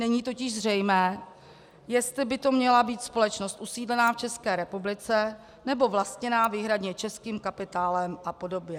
Není totiž zřejmé, jestli by to měla být společnost usídlená v České republice nebo vlastněná výhradně českým kapitálem a podobně.